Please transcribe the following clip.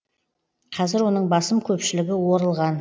қазір оның басым көпшілігі орылған